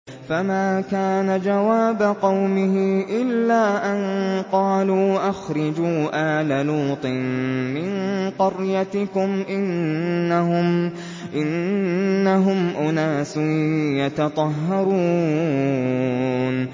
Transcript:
۞ فَمَا كَانَ جَوَابَ قَوْمِهِ إِلَّا أَن قَالُوا أَخْرِجُوا آلَ لُوطٍ مِّن قَرْيَتِكُمْ ۖ إِنَّهُمْ أُنَاسٌ يَتَطَهَّرُونَ